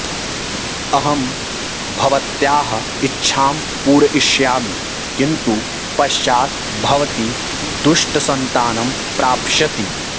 अहं भवत्याः इच्छां पूरयिष्यामि किन्तु पश्चात् भवती दुष्टसन्तानं प्राप्स्यति